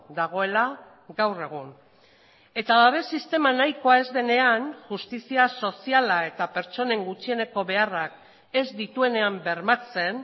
dagoela gaur egun eta babes sistema nahikoa ez denean justizia soziala eta pertsonen gutxieneko beharrak ez dituenean bermatzen